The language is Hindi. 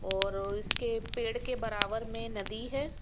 और इसके पेड़ के बराबर में नदी है।